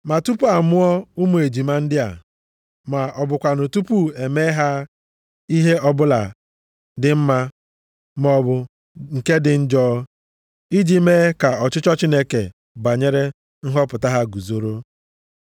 Ma tupu a mụọ ụmụ ejima ndị a, ma ọ bụkwanụ tupu ha emee ihe ọbụla dị mma maọbụ nke dị njọ, iji mee ka ọchịchọ Chineke banyere nhọpụta ha guzoro,